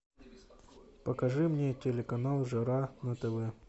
покажи мне телеканал жара на тв